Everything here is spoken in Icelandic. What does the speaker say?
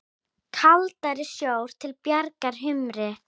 Kaldari sjór til bjargar humri?